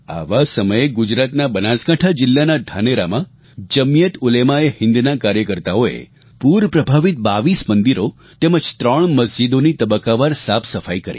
આવા સમયે ગુજરાતના બનાસકાંઠા જિલ્લાના ધાનેરામાં જમિયતઉલેમાએહિંદના કાર્યકર્તાઓએ પૂર પ્રભાવિત 22 મંદિરો તેમજ 3 મસ્જિદોની તબક્કાવાર સાફસફાઈ કરી